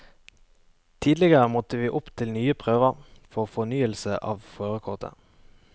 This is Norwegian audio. Tidligere måtte vi opp til nye prøver for fornyelse av førerkortet.